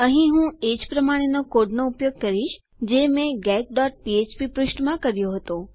અહીં હું એ જ પ્રમાણે નો કોડ નો ઉપયોગ કરીશ જે મેં getફ્ફ્પ પૃષ્ઠમાં કર્યો હતો